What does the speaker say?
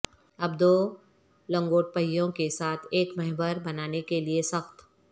اب دو لنگوٹ پہیوں کے ساتھ ایک محور بنانے کے لئے سخت